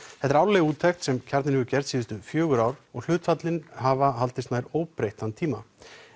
þetta er árleg úttekt sem Kjarninn hefur gert síðustu fjögur ár og hlutföllin hafa haldist nær óbreytt þann tíma